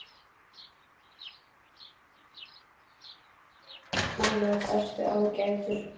Annars ertu ágætur.